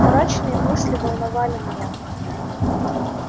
мрачные мысли волновали меня